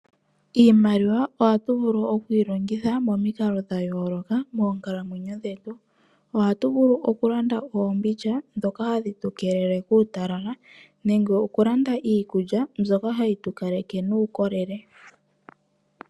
Iimaliwa ohatu vulu okuyi longitha momikalo dhayoloka moonkalamwenyo dhetu dhesiku kehe. Ohatu vulu oku landa oombindja dhoka hadhi tu keelele kuutalala nenge oku landa iikulya mbyoka hayi tu kaleke nuukolele.